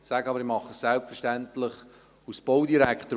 Dies tue ich aber selbstverständlich als Baudirektor.